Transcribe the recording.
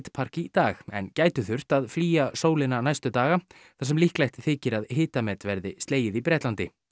park í dag en gætu þurft að flýja sólina næstu daga þar sem líklegt þykir að hitamet verði slegið í Bretlandi